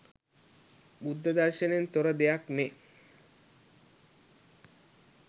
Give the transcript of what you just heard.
බුද්ධ දර්ශනයෙන් තොර දෙයක් මේ